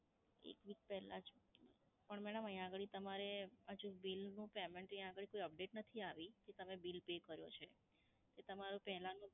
એક week પહેલાં જ. પણ madam અહીયાં આગળી તમારે હજુ bill નું payment અહીયાં આગળી કોઈ update નથી આવી કે તમે bill pay કર્યો છે એ તમારું પહેલાનું